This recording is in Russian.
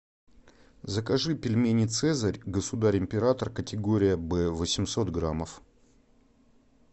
закажи пельмени цезарь государь император категория б восемьсот граммов